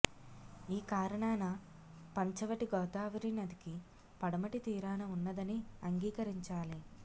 ఈ కారణాన పంచవటి గోదావరి నదికి పడమటి తీరాన ఉన్నదని అంగీకరించాలి